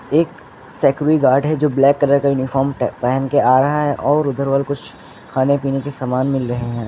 एक security guard है जो ब्लैक कलर का यूनिफार्म पहन के आ रहा है और उधर वाला कुछ खाने पीने के सामान मिल रहे हैं।